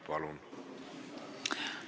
Palun!